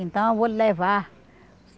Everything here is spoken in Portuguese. Então eu vou lhe levar.